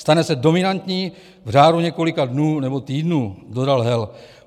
Stane se dominantní v řádu několika dnů nebo týdnů, dodal Hel.